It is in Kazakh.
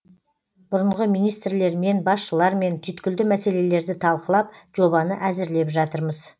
бұрынғы министрлермен басшылармен түйткілді мәселелерді талқылап жобаны әзірлеп жатырмыз